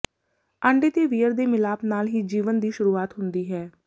ਆਂਡੇ ਤੇ ਵੀਰਯ ਦੇ ਮਿਲਾਪ ਨਾਲ ਹੀ ਜੀਵਨ ਦੀ ਸ਼ੁਰੂਆਤ ਹੁੰਦੀ ਹੈ